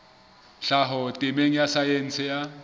tlhaho temeng ya saense ya